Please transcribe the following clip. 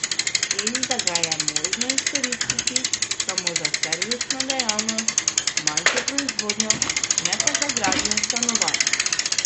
In da ga je možno izkoristiti samo za servisno dejavnost, manjšo proizvodnjo, ne pa za gradnjo stanovanj.